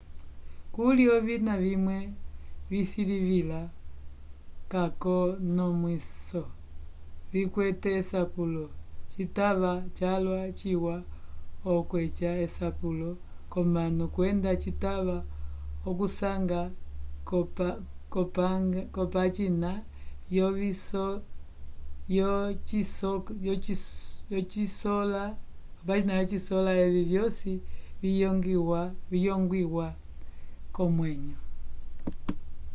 kuli ovina vimwe visilivila k'akonomwiso vikwete esapulo citava calwa ciwa okweca esapulo k'omanu kwenda citava okusanga k'opagina yosikola evi vyosi viyongwiwa k'omwenyo